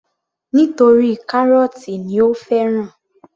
Nítorí kárọ́tì ni ó fẹ́ràn